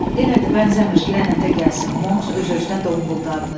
Elədir, bənzəmir, lənətə gəlsin, Monks öz-özünə donquldandı.